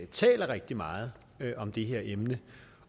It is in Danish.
taler rigtig meget om det her emne